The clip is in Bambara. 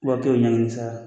wa kelen o ɲaŋini sara.